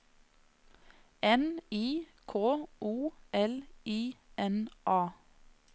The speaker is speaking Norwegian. N I K O L I N A